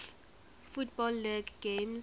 football league games